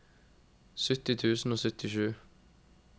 sytti tusen og syttisju